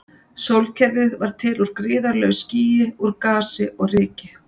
Sólkerfið varð til úr gríðarlegu skýi úr gasi og ryki.